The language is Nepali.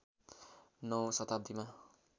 ९ औँ शताब्दीमा